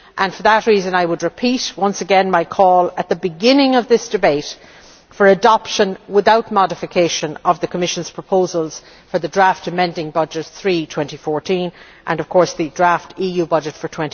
For that reason, I would repeat once again my call at the beginning of this debate for adoption, without modification, of the Commission's proposal for Draft Amending Budget No 3 to the 2014 budget and of course the draft EU budget for